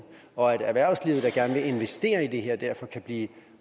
og at erhvervslivet der gerne vil investere i det her derfor kan blive